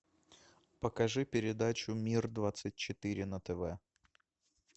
покажи передачу мир двадцать четыре на тв